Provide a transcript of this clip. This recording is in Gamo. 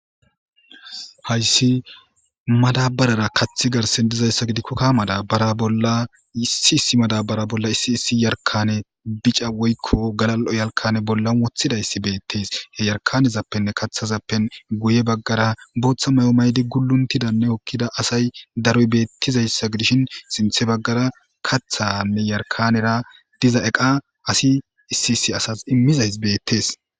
hayssi madabarara kaththi garsen dizayssa gidikko kamada bara bolla issi issi madabara bolla issi issi yarkane bica woykko galal7o yalkane bollan wothidayssi beettees he yarkanezappenne kathazappen guye baggara booththa mayo maydi guluntidanne okkida asay daroy beettizayssa gidishin sinthe baggara kathanne yarkanera diza eqa asi issi issi asas immizay beettees